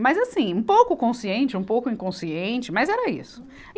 Mas assim, um pouco consciente, um pouco inconsciente, mas era isso.